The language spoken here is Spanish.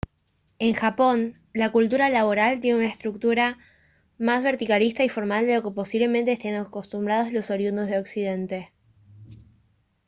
en japón la cultura laboral tiene una estructura más verticalista y formal de lo que posiblemente estén acostumbrados los oriundos de occidente